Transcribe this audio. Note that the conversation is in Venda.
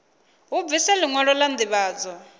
hu bviswe liṅwalo la ndivhadzo